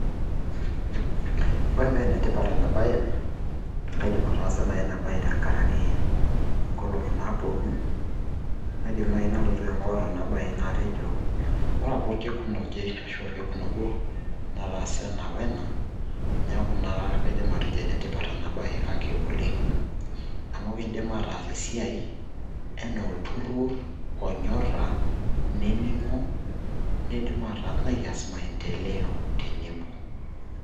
Ore pa enetipat enabae, kaidim ataasa nai ina bae tenkaraki inkolong'i naponu. Aidim nai nalotu aing'or ena bae natejo, ore apa orkekun oje ashu ah orkekun obo, nataasa ena we ena. Neeku naa kaidim atejo enetipat ena bae kake oleng'. Amu kiidim ataas esiai enaa olturrur onyorra, nening'o, nidim nikias maendeleo tenebo.